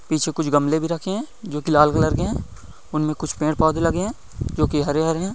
पीछे कुछ गमले रखे है जोकि लाल कलर के है उनमें कुछ पेड़ पौधे लगे है जोकि हरे हरे है।